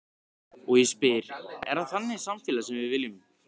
Og ég spyr, er það þannig samfélag sem við viljum?